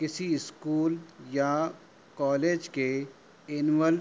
किसी स्कूल या कॉलेज के एनुअल --